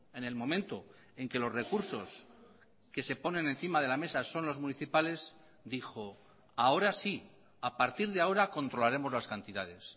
en el momento en que los recursos que se ponen encima de la mesa son los municipales dijo ahora sí a partir de ahora controlaremos las cantidades